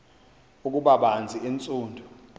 ukuba banzi entsundu